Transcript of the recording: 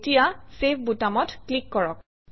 এতিয়া চেভ বুটামত ক্লিক কৰক